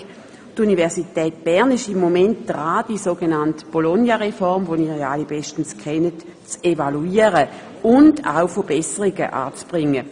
Die Universität Bern ist im Moment dabei, die sogenannte Bologna-Reform, die Sie alle bestens kennen, zu evaluieren und auch Verbesserungen anzubringen.